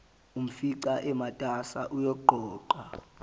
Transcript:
umfica umatasa uyaqoqa